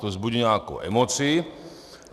To vzbudí nějakou emoci.